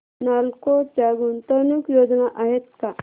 नालको च्या गुंतवणूक योजना आहेत का